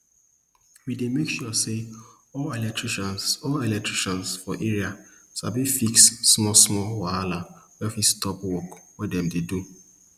we dey make sure say all electricians all electricians for area sabi fix smallsmall wahala wey fit stop work wey dem dey do